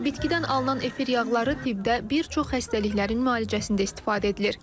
Bitkidən alınan efir yağları tibbdə bir çox xəstəliklərin müalicəsində istifadə edilir.